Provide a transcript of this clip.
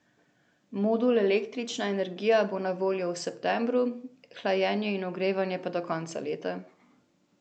Modul električna energija bo na voljo v septembru, hlajenje in ogrevanje pa do konca leta.